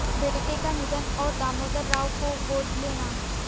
बेटे का निधन और दामोदर राव को गोद लेना